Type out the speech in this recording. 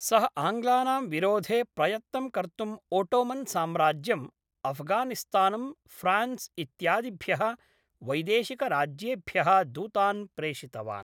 सः आङ्ग्लानां विरोधे प्रयत्नं कर्तुम् ओटोमन् साम्राज्यं, अफ़्घानिस्तानं, फ्रान्स् इत्यादिभ्यः वैदेशिकराज्येभ्यः दूतान् प्रेषितवान्।